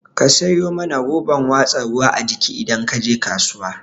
Ka sayo mana roban watsa ruwa a jiki idan kaje kasuwa